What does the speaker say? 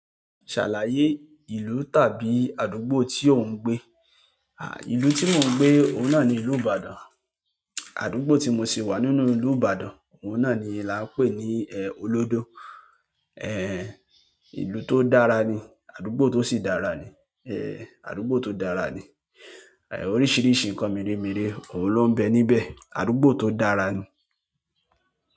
Ṣàlàyé ìlú tàbí àdúgbò tí ò ń gbé. Ìlú tí mò ń gbé, òun náà ni ìlú Ibadan. Àdúgbò tí mo ṣi wà nínú ìlú Ìbàdàn, òun náà ni làá ń pè ní, Olódó. Ìlú to dára ní, àdúgbò to sì dára ní, àdúgbò tó dára ní oríṣìíríṣìí nǹkan mère mère òun ló ń bẹ níbẹ̀. Àdúgbò tó dára ni.